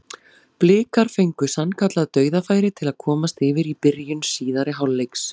Blikar fengu sannkallað dauðafæri til að komast yfir í byrjun síðari hálfleiks.